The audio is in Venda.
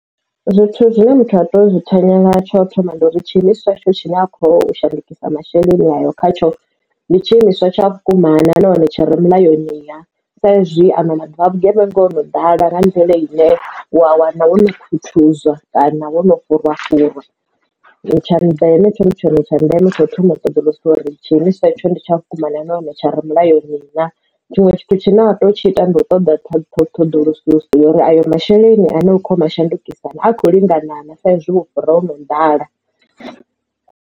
Zwithu zwine muthu a teo zwi thanyela tsho thoma ndi uri tshiimiswa itsho tshine a khou shandukisa masheleni ayo khatsho ndi tshi imiswa tsha vhukuma na nahone tshire mulayoni na sa izwi ano maḓuvha a vhugevhenga hono ḓala nga mvelele ine wa wana wono khuthuzwa kana wo no fhurwa fhurwa tsha ndeme tsho ndi tshone tsha ndeme tsha u thoma u ṱoḓulusa uri tshine tsha tsho ndi tsha vhukuma na hone tsha ro mulayoni na tshiṅwe tshithu tshine wa teo tshi ita ndi u ṱoḓa tha thu ṱhoḓulusiso uri ayo masheleni ane u kho yo a shandukisa ane a kho lingana na sa ezwi vhufhura ho no ḓala.